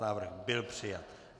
Návrh byl přijat.